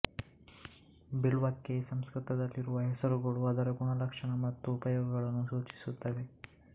ಬಿಲ್ವಕ್ಕೆ ಸಂಸ್ಕೃತದಲ್ಲಿರುವ ಹೆಸರುಗಳು ಅದರ ಗುಣಲಕ್ಷಣ ಮತ್ತು ಉಪಯೋಗಗಳನ್ನು ಸೂಚಿಸುತ್ತವೆ